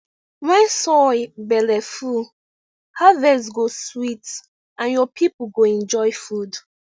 when soil belle full harvest go sweet and your people go enjoy food